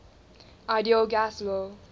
ideal gas law